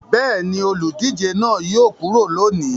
Bẹ́ẹ̀ ni, olùdíje náà yóò kúrò lónìí.